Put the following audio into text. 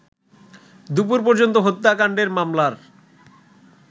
দুপুর পর্যন্ত হত্যাকাণ্ডের মামলার